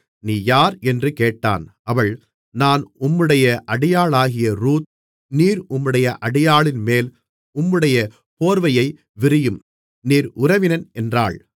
நீ யார் என்று கேட்டான் அவள் நான் உம்முடைய அடியாளாகிய ரூத் நீர் உம்முடைய அடியாளின்மேல் உம்முடைய போர்வையை விரியும் நீர் உறவினன் என்றாள்